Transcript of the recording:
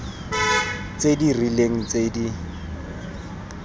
tse di rileng tse di